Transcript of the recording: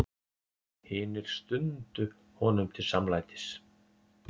Hinir stundu honum til samlætis.